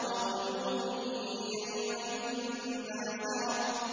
وَوُجُوهٌ يَوْمَئِذٍ بَاسِرَةٌ